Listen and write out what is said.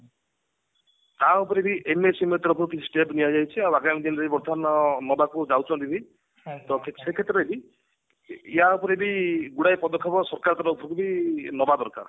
ତା ଉପରେ ବି step ନିଆଯାଇଛି ଆଉ ଆଗାମୀ ଦିନରେ ବର୍ତମାନ ନବାକୁ ଯାଉଛନ୍ତି ବି ତ ସେଇ କ୍ଷେତ୍ରରେ ବି ୟା ଉପରେ ବି ଗୁଡାଏ ପଦକ୍ଷେପ ସରକାରଙ୍କ ତରଫରୁ ବି ନବା ଦରକାର